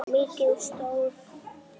Mikið stóð til.